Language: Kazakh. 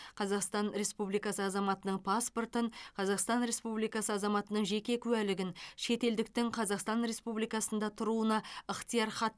қазақстан республикасы азаматының паспортын қазақстан республикасы азаматының жеке куәлігін шетелдіктің қазақстан республикасында тұруына ықтиярхатты